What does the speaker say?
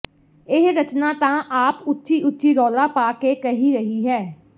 ਇਹ ਰਚਨਾਂ ਤਾਂ ਆਪ ਉੱਚੀ ਉਚੀ ਰੌਲਾ ਪਾ ਕੇ ਕਹਿ ਰਹੀ ਹੈ